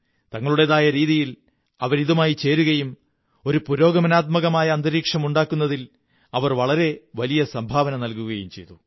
തങ്ങളുടേതായ രീതിയിൽ അവരിതുമായി ചേരുകയും ഒരു പുരോഗമനാത്മകമായ അന്തരീക്ഷം ഉണ്ടാക്കുന്നതിൽ അവർ വളരെ വലിയ സംഭാവന നല്കുഗകയും ചെയ്തു